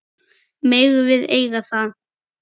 Megum við eiga það?